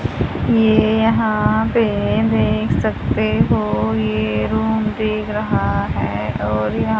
ये यहां पे देख सकते हो ये रूम दिख रहा है और यहां--